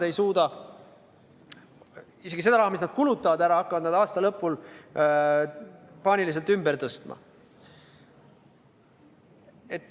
Isegi seda raha, mille nad kulutavad ära, hakkavad nad aasta lõpul paaniliselt ümber tõstma.